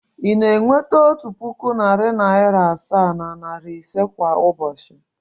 Ị na-enweta otu puku, narị naịra asaa na naịra ise kwa ụbọchị?